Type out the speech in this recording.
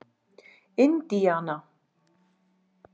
Indíana